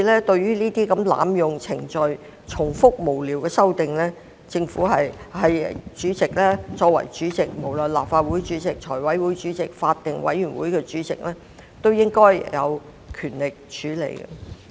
對於這類濫用程序、重複無聊的修正案，作為主席，無論是立法會主席、財委會主席還是法案委員會主席，均應有權力作出處理。